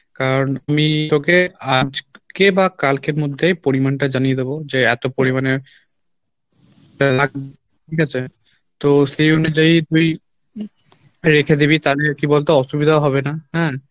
কারণ আমি তোকে আজকে বা কালকের মধ্যে পরিমাণটা জানিয়ে দেবো যে এত পরিমানে ঠিক আছে? তো সে অনুযায়ী তুই রেখে দিবি তালে আর কী বলতো অসুবিধাও হবে না হ্যাঁ